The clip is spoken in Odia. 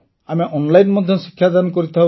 ଆମେ ଅନଲାଇନ୍ ମଧ୍ୟ ଶିକ୍ଷାଦାନ କରିଥାଉ